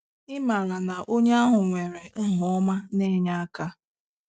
Ịmara na onye ahụ nwere aha ọma na-enye aka.